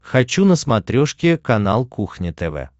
хочу на смотрешке канал кухня тв